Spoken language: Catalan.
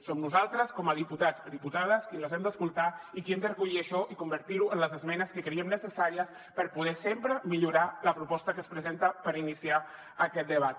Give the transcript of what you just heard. som nosaltres com a diputats i diputades qui les hem d’escoltar i qui hem de recollir això i convertir ho en les esmenes que creiem necessàries per poder sempre millorar la proposta que es presenta per iniciar aquest debat